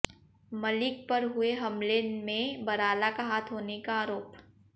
मलिक पर हुए हमले में बराला का हाथ होने का आऱोप